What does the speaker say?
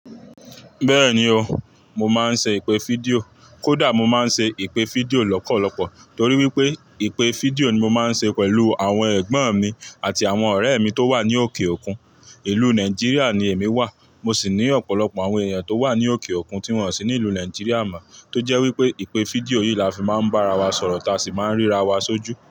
Bẹ́ẹ̀ ni o, mo máa ń ṣe ìpè fídíò. Kódà mo máa ń ṣe ìpè fídíò lọ́pọ̀lọpọ̀ torí wípé ìpè fídíò ni mo máa ń ṣe pẹ̀lú àwọn ẹ̀gbọ́n mi àti àwọn ọ̀rẹ́ mi tó wà ní òkè òkun. Ìlú Nàìjíríà ni èmi wà. Mo sì ní ọ̀pọ̀lọpọ̀ àwọn èèyàn tó wà ní òkè òkun tí wọ́n sì ní ìlú Nàìjíríà mọ̀, tó jẹ́ wípé ìpè fídíò yìí la fi máa ń bá ara wa sọ̀rọ̀, táa sì máa ń ríra wa sójú.